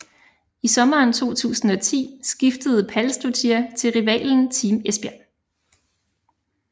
I sommeren 2010 skiftede Pálsdóttir til rivalen Team Esbjerg